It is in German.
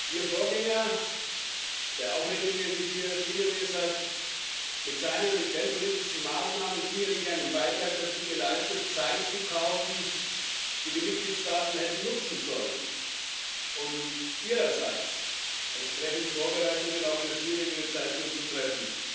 Ihr Vorgänger, der auch regelmäßig hier erschienen ist, hat mit seinen geldpolitischen Maßnahmen sicherlich einen Beitrag dazu geleistet, Zeit zu kaufen, die die Mitgliedstaaten hätten nutzen sollen, um ihrerseits entsprechende Vorbereitungen auch für schwierigere Zeiten zu treffen.